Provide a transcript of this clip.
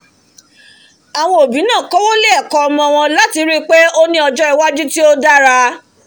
àwọn òbí náà kówó lé ẹ̀kọ́ ọmọ wọn láti ríi pé ó ní ọjọ́ iwájú tí ó dára